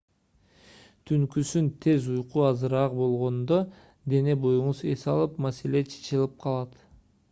түнкүсүн тез уйку азыраак болгондо дене-боюңуз эс алып маселе чечилип калат